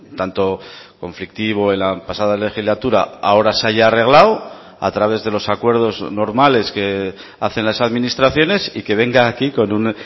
tanto conflictivo en la pasada legislatura ahora se haya arreglado a través de los acuerdos normales que hacen las administraciones y que venga aquí con un